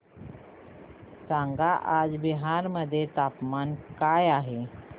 सांगा आज बिहार मध्ये तापमान काय आहे